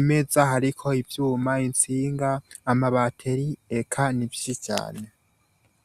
imeza hariko ibyuma insinga ama bateri ek nibsi cane.